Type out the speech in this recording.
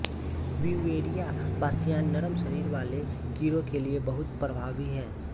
Beauveria bassiana नरम शरीर वाले कीड़ो के लिए बहुत प्रभावी है